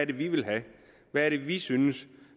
det vi vil have hvad er det vi synes